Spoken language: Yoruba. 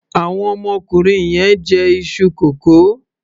Àwọn ọmọkùnrin yẹn ń jẹ iṣu kókò.